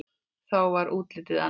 Þá var útlitið annað.